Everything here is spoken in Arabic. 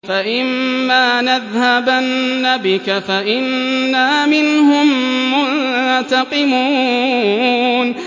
فَإِمَّا نَذْهَبَنَّ بِكَ فَإِنَّا مِنْهُم مُّنتَقِمُونَ